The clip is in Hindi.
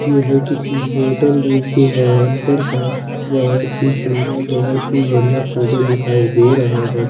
यह किसी होटल र्रोम के बाहर का बहुत ही सुन्दर बहुत ही बढ़िया फोटो दिखाई दे रहा है।